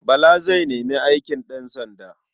Bala zai nemi aikin ɗansanda.